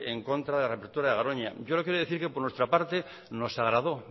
en contra de la reapertura de garoña yo lo quiero decir que por nuestra parte nos agradó